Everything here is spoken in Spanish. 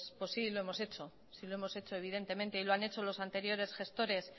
sí lo hemos hecho sí lo hemos hecho evidentemente y lo han hecho los anteriores gestores